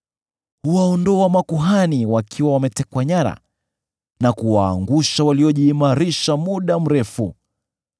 Huwaondoa makuhani wakiwa wametekwa nyara, na kuwaangusha waliojiimarisha muda mrefu.